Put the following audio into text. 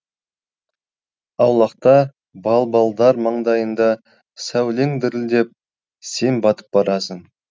аулақта балбалдар маңдайында сәулең дірілдеп сен батып барасың